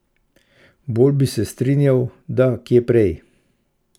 Bolj bi se strinjala, da kje prej.